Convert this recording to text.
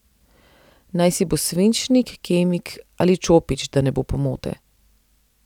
Najsi bo svinčnik, kemik ali čopič, da ne bo pomote.